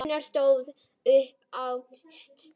Gunnar stóð upp og dæsti.